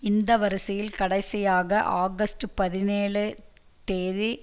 இந்த வரிசையில் கடைசியாக ஆகஸ்டு பதினேழு தேதி